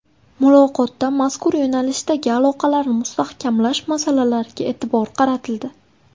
Muloqotda mazkur yo‘nalishdagi aloqalarni mustahkamlash masalalariga e’tibor qaratildi.